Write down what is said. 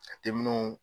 A te min